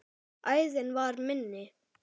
Æðin var minni.